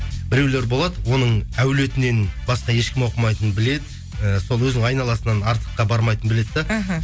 біреулер болады оның әулетінен басқа ешкім оқымайтынын біледі ііі сол өзінің айналасынан артыққа бармайтынын біледі де іхі